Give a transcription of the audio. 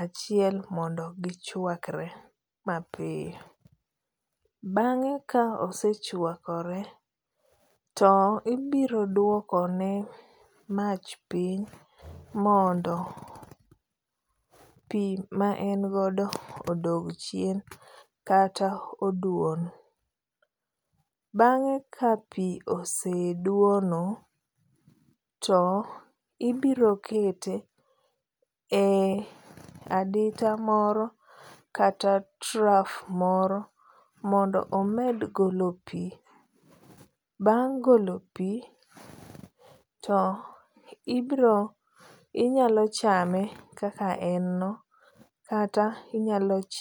achiel mondo gichuakre mapiyo. Bang'e ka ose chuakore to ibiro duokone mach piny mondo pi ma en godo odog chien kata oduon. Bang'e ka pi oseduono, to ibirokete e adita moro kata trough moro mondo omed golo pi. Bang' golo pi to ibiro inyalo chame kaka en no kata inyalo chie